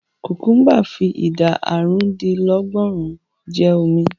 Kùkúḿbà fi ìdá àrùndínlọ́gọ́rùn-ún jẹ́ omi.